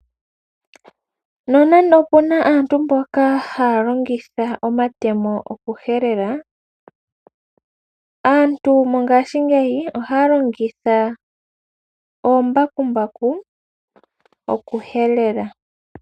Nonena opu na aantu mboka haya longitha omatemo okuhelela. Aantu mongashingeyi ohaya longitha oombakumbaku okuhelela.